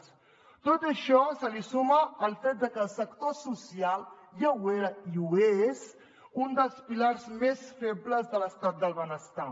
a tot això s’hi suma el fet que el sector social ja ho era i ho és un dels pilars més febles de l’estat del benestar